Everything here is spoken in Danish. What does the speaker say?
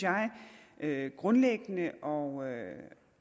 jeg grundlæggende og